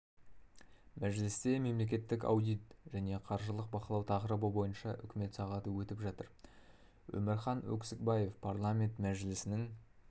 мәжілісте мемлекеттік аудит және қаржылық бақылау тақырыбы бойынша үкімет сағаты өтіп жатыр омаріан өксікбаев парламенті мәжілісінің